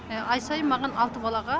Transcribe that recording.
ай сайын маған алты балаға